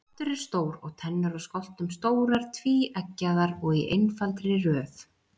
Kjaftur er stór og tennur á skoltum stórar, tvíeggjaðar og í einfaldri röð.